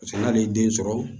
Paseke n'ale ye den sɔrɔ